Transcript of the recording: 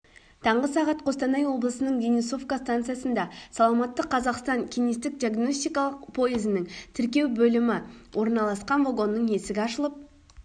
таңғы сағат костанай облысының денисовка станциясында саламатты қазақстан кеңестік-диагностикалық пойызының тіркеу бөлімі орналасқан вагонның есігі ашылып